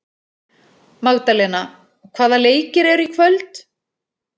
Magdalena, hvaða leikir eru í kvöld?